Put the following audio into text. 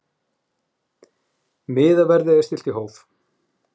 Miðaverði er stillt í hóf.